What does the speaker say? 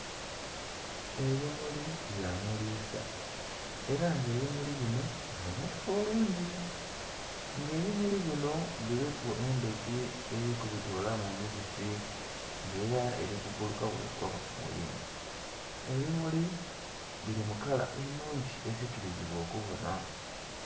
Ebimuli bya mulisa era nga ebimuli binho bibonheka bulungi, nga ebimuli binho biliku endhuki eri ku bitilaku omibisi nga era eri ku bbuuluka bwegwa ku kimuli. Ebimuli bili mu kala enhungi esikiliza okubonha.